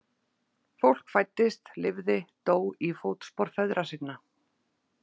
Fólk fæddist lifði dó í fótspor feðra sinna.